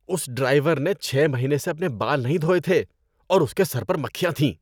اس driver نے چھ مہینے سے اپنے بال نہیں دھوئے تھے اور اس کے سر پر مکھیاں تھیں۔